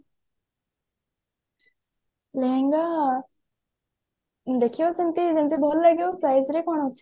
ଲେହେଙ୍ଗା ଦେଖିବା ସେମତି ଯେମତି ଭଲ ଲାଗିବ price ରେ କଣ ଅଛି